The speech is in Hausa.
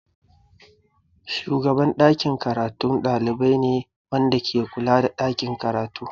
Shugaban ɗakin karatu ɗalibi ne wanda ke kula da ɗakin karatu.